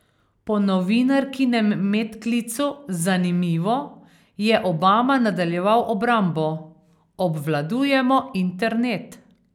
Po novinarkinem medklicu 'zanimivo' je Obama nadaljeval obrambo: 'Obvladujemo internet.